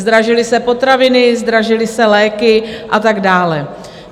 Zdražily se potraviny, zdražily se léky a tak dále.